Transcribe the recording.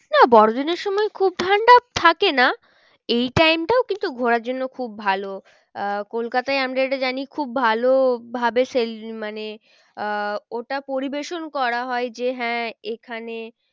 না বড়ো দিনের সময় খুব ঠান্ডা থাকে না। এই time টাও কিন্তু ঘোরার জন্য খুব ভালো আহ কলকাতায় আমরা যেটা জানি খুব ভালো ভাবে মানে আহ ওটা পরিবেশন করা হয় যে হ্যাঁ এখানে